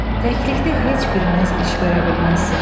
Təklikdə heç biriniz iş görə bilməzsiniz.